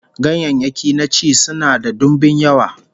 Ganyayyaki na ci sunan da dimbin yawa